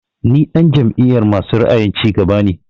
Ni ɗan jam'iyar masu ra'ayin cigaba ne